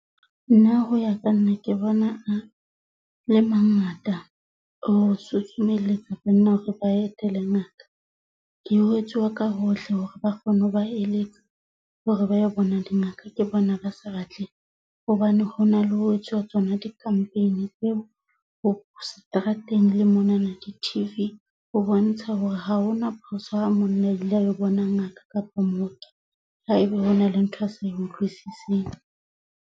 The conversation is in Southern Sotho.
Nna ho ya ka nna ke bona a le mangata ho susumelletsa banna hore ba etele ngaka. Ke jwetsiwa ka hohle hore ba kgone ho ba eletsa hore ba yo bona dingaka ke bona ba sa batleng hobane hona le ho etsuwa tsona di-campaign tseo ho seterateng le monana di-T_V ho bontsha hore ha hona phoso ha monna a ile a lo bona ngaka kapa mooki haeba hona le ntho e a sa e utlwisiseng.